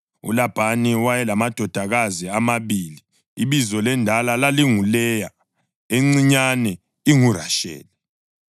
ULabhani wayelamadodakazi amabili; ibizo lendala lalinguLeya, encinyane inguRasheli.